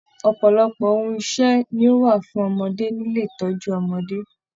Ọpọlọpọ ohùn ìṣe ní o wa fún ọmọdé nílé ìtọjú ọmọdé.